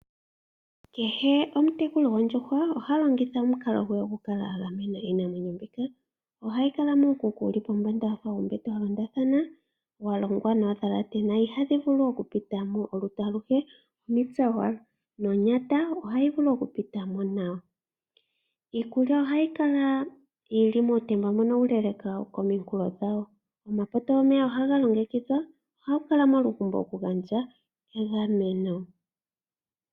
Kehe omutekuli gwoondjuhwa oha longitha omukalo gwe okukala a gamena iinamwenyo mbika. Ohadhi kala muukuku wu li pombanda wafa uumbete wa londathana, wa longwa noondhalate na ihadhi vulu okupita mo olutu aluhe, omitse owala, nonyata ohayi vulu okupita mo nawa. Iikulya ohayi kala muutenda mbono uuleeleka kominkulo dhawo. Omapoto gomeya ohaga longekidhwa, ohapu kala omalufo okugandja egameno.